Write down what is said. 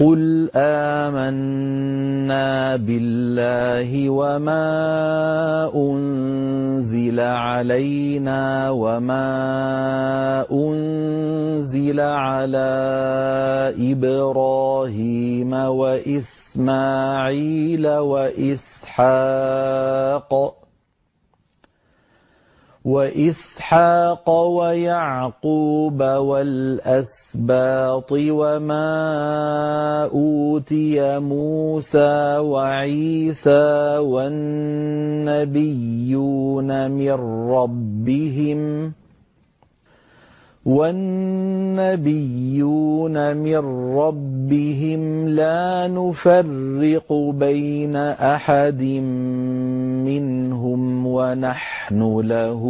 قُلْ آمَنَّا بِاللَّهِ وَمَا أُنزِلَ عَلَيْنَا وَمَا أُنزِلَ عَلَىٰ إِبْرَاهِيمَ وَإِسْمَاعِيلَ وَإِسْحَاقَ وَيَعْقُوبَ وَالْأَسْبَاطِ وَمَا أُوتِيَ مُوسَىٰ وَعِيسَىٰ وَالنَّبِيُّونَ مِن رَّبِّهِمْ لَا نُفَرِّقُ بَيْنَ أَحَدٍ مِّنْهُمْ وَنَحْنُ لَهُ